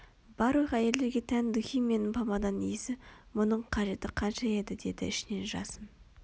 барлық әйелдерге тән духи мен помаданың иісі мұның қажеті қанша еді деді ішінен жасын